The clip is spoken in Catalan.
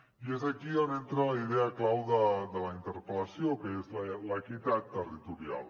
i és aquí on entra la idea clau de la interpel·lació que és l’equitat territorial